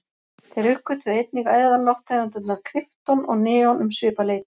Þeir uppgötvuðu einnig eðallofttegundirnar krypton og neon um svipað leyti.